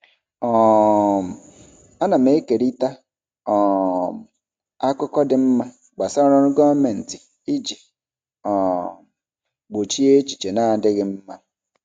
um Ana m ekerịta um akụkọ dị mma gbasara ọrụ gọọmentị iji um gbochie echiche na-adịghị mma.